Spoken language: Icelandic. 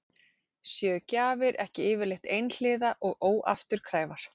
Séu gjafir ekki yfirleitt einhliða og óafturkræfar?